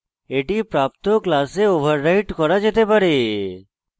এটি প্রাপ্ত class override করা যেতে পারে